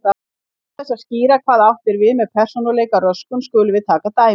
Til þess að skýra hvað átt er við með persónuleikaröskun skulum við taka dæmi.